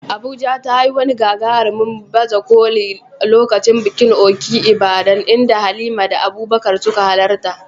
Abuja ta yi wani gagarumin baje koli a lokacin bikin Òkè Ìbàdàn, inda Halima da Abubakar suka halarta.